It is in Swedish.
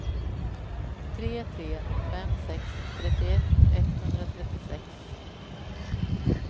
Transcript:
tre tre fem sex trettioett etthundratrettiosex